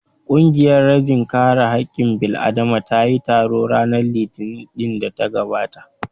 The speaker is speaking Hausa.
Ƙungiyar rajin kare haƙƙin bil'adama ta yi taro ranar Litinin ɗin da ta gabata